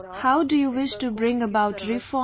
How do you wish to bring about reforms